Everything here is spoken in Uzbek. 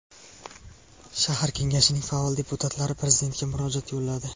shahar kengashining faol deputatlari prezidentga murojaat yo‘lladi.